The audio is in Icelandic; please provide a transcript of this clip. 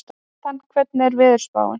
Natan, hvernig er veðurspáin?